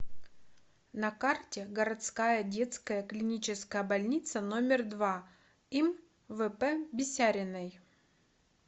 на карте городская детская клиническая больница номер два им вп бисяриной